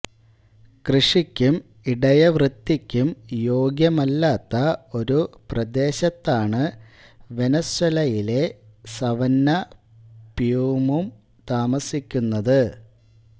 കൃഷിക്കും ഇടയവൃത്തിക്കും യോഗ്യമല്ലാത്ത ഒരു പ്രദേശത്താണ് വെനസ്വേലയിലെ സവന്ന പ്യൂമും താമസിക്കുന്നത്